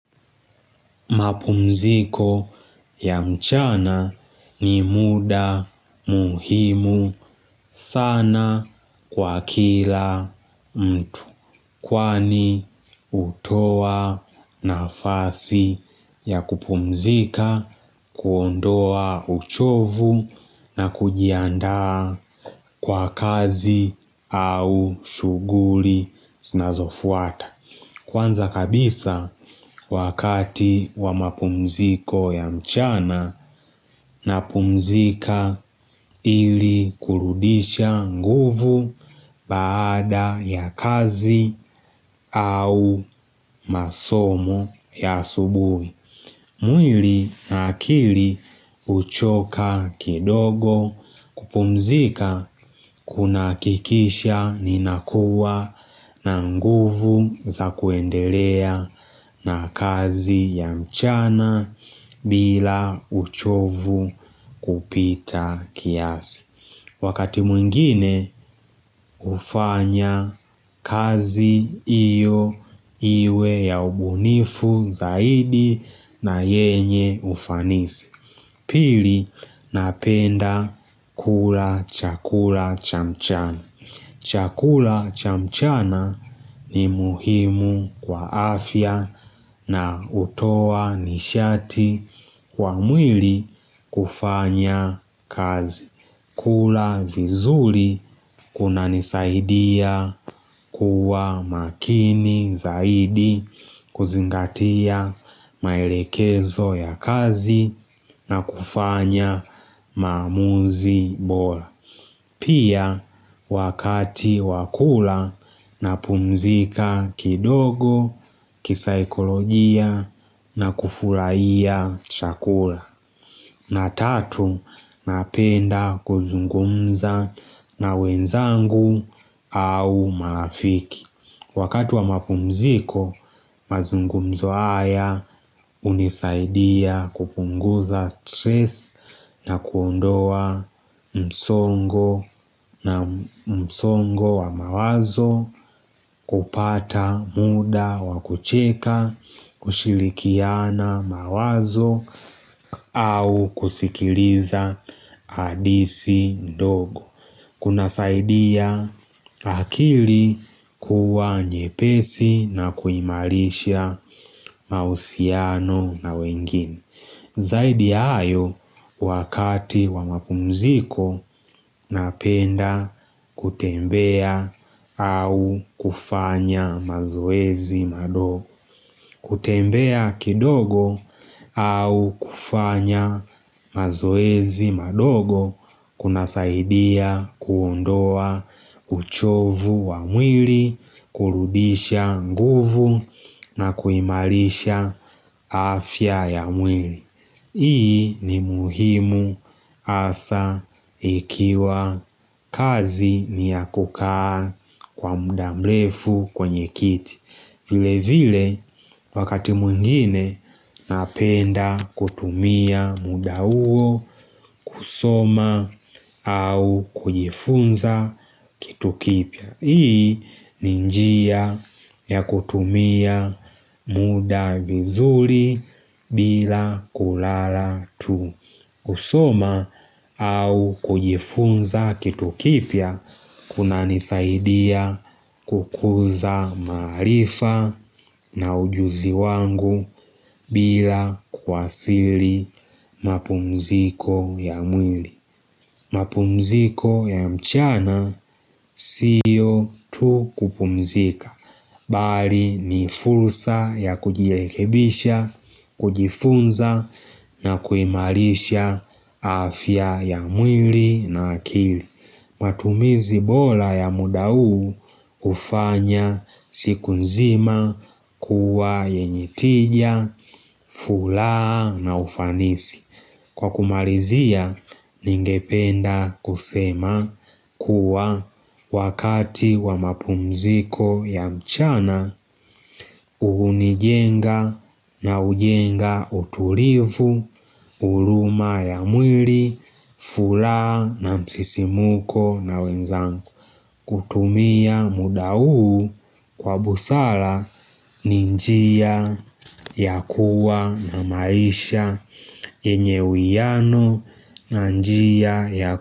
Mapumziko ya mchana ni muda muhimu sana kwa kila mtu. Kwani utoa nafasi ya kupumzika, kuondoa uchovu na kujiandaa kwa kazi au shughuli zinazofuata. Kwanza kabisa wakati wa mapumziko ya mchana napumzika ili kurudisha nguvu baada ya kazi au masomo ya asubuhi mwili na akili uchoka kidogo kupumzika kunahakikisha ni nakuwa na nguvu za kuendelea na kazi ya mchana bila uchovu kupita kiasi. Wakati mwingine ufanya kazi iyo iwe ya ubunifu zaidi na yenye ufanisi Pili napenda kula chakula chamchana chakula chamchana ni muhimu kwa afya na utoa nishati kwa mwili kufanya kazi kula vizuri kuna nisaidia kuwa makini zaidi kuzingatia maelekezo ya kazi na kufanya maamuzi bora. Pia wakati wakula napumzika kidogo, kisaikolojia na kufurahiya chakula. Na tatu napenda kuzungumza na wenzangu au marafiki Wakati wa mapumziko mazungumzo haya unisaidia kupunguza stress na kuondoa msongo na msongo wa mawazo kupata muda wakucheka, kushilikiana mawazo au kusikiliza adisi dogo Kuna saidia akili kuwa nyepesi na kuimarisha mausiano na wengine Zaidi ya hayo wakati wa mapumziko napenda kutembea au kufanya mazoezi madogo kutembea kidogo au kufanya mazoezi madogo kuna saidia kuondoa uchovu wa mwili, kurudisha nguvu na kuimarisha afya ya mwili. Hii ni muhimu hasa ikiwa kazi ni ya kukaa kwa muda mrefu kwenye kiti vile vile wakati mwingine napenda kutumia muda uo kusoma au kujifunza kitu kipya Hii ninjia ya kutumia muda vizuri bila kulala tu kusoma au kujifunza kitu kipya kuna nisaidia kukuza marifa na ujuzi wangu bila kwasili mapumziko ya mwili mapumziko ya mchana siyo tu kupumzika Bali ni fulsa ya kujilekebisha, kujifunza na kuimarisha afya ya mwili na akili matumizi bola ya muda huu ufanya siku nzima kuwa yenye tija, fulaa na ufanisi Kwa kumalizia, ningependa kusema kuwa wakati wa mapumziko ya mchana, uhunijenga na ujenga utulivu, uruma ya mwiri, fulaa na msisimuko na wenzangu. Kutumia muda uu kwa busala ni njia ya kuwa na maisha enye uiano na njia ya kuwa.